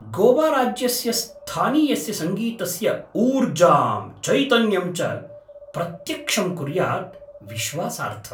गोवाराज्यस्य स्थानीयस्य सङ्गीतस्य ऊर्जां, चैतन्यं च प्रत्यक्षं कुर्यात् विश्वासार्थम्।